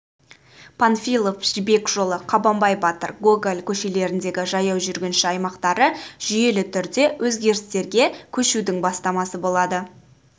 панфилов жібек жолы қабанбай батыр гоголь көшелеріндегі жаяу жүргінші аймақтары жүйелі түрде өзгерістерге көшудің бастамасы болады